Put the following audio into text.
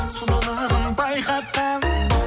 сұлулығын байқатқан